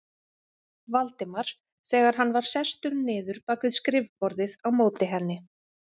Valdimar þegar hann var sestur niður bak við skrifborðið á móti henni.